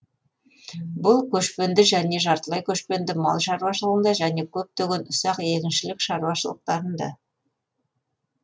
бұл көшпенді және жартылай көшпенді мал шаруашылығында және көптеген ұсақ егіншілік шаруашылықтарында